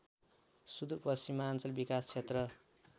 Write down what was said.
सुदूरपश्चिमाञ्चल विकास क्षेत्र